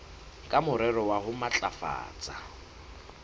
ka morero wa ho matlafatsa